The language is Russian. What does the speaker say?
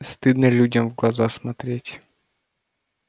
стыдно людям в глаза смотреть